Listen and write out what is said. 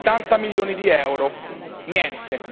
Settanta milioni di euro niente!